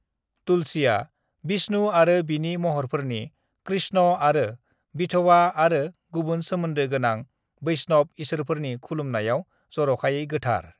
तुलसीआ विष्णु आरो बिनि महरफोरनि कृष्ण आरो विथ'बा आरो गुबुन सोमोनदो गोनां वैष्णव इसोरफोरनि खुलुमनायाव जरखायै गोथार।